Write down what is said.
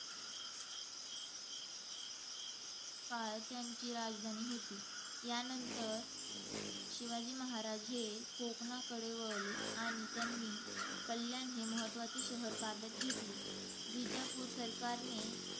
काळ त्यांची राजधानी होती. यानंतर शिवाजी महाराज हे कोकणाकडे वळले. आणि त्यांनी कल्याण हे महत्त्वाचे शहर ताब्यात घेतले. विजापूर सरकारने,